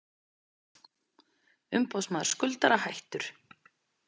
Umboðsmaður skuldara hættur